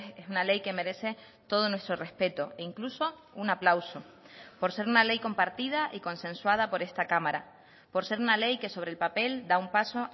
es una ley que merece todo nuestro respeto e incluso un aplauso por ser una ley compartida y consensuada por esta cámara por ser una ley que sobre el papel da un paso